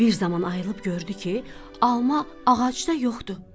Bir zaman ayılıb gördü ki, alma ağacda yoxdur.